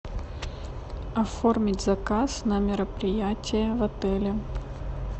оформить заказ на мероприятие в отеле